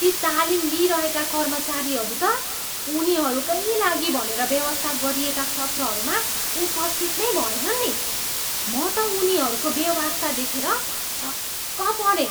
ती तालिम लिइरहेका कर्मचारीहरू त उनीहरूकै लागि भनेर व्यवस्था गरिएका सत्रहरूमा उपस्थित नै भएनन् नी। म त उनीहरूको बेवास्ता देखेर छक्क परेँ।